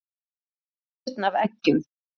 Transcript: Taktu skurn af eggjum.